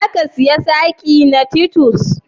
Za ki siya sadin na Titus?